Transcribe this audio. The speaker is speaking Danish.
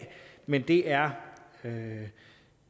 men det er